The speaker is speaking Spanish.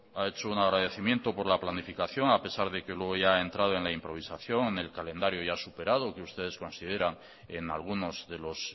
ha hecho un agradecimiento por la planificación a pesar de que luego ya ha entrado en la improvisación en el calendario ya superado que ustedes consideran en algunos de los